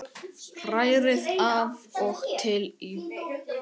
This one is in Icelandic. Hrærið af og til í.